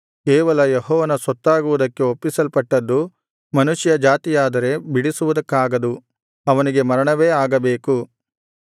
ಕೇವಲ ಯೆಹೋವನ ಸೊತ್ತಾಗುವುದಕ್ಕೆ ಒಪ್ಪಿಸಲ್ಪಟ್ಟದ್ದು ಮನುಷ್ಯ ಜಾತಿಯಾದರೆ ಬಿಡಿಸುವುದಕ್ಕಾಗದು ಅವನಿಗೆ ಮರಣವೇ ಆಗಬೇಕು